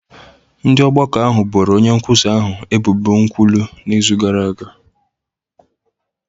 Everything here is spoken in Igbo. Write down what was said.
Ndị ọgbakọ ahụ boro onye nkwusa ahụ ebubo nkwulu n’izu gara aga